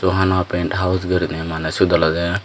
sohana paint house guriney maney sut olode.